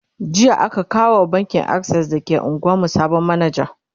jiya aka kawo wa bankin akses da ke unguwan mu sabon manaja